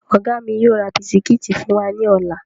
Ọ̀gá mi yóò ra bisikíìtì fún wa ní ọ̀la